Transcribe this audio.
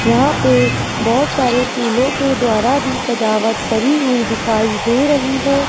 यहां पे बहोत सारे फूलों के द्वारा भी सजावट करी हुई दिखाई दे रही है।